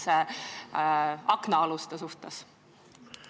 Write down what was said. Selle eelnõu kohta palusime Haridus- ja Teadusministeeriumi ning Justiitsministeeriumi arvamust.